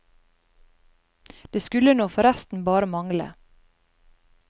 Det skulle nå forresten bare mangle.